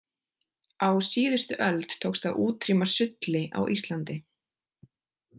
Á síðustu öld tókst að útrýma sulli á Íslandi.